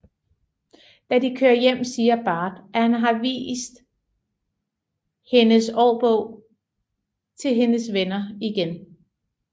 Da de kører hjem siger Bart at han har vist hendes årbog til hendes venner igen